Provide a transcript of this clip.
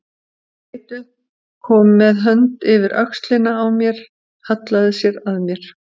Hann leit upp, kom með hönd yfir öxlina á mér, hallaði sér að mér.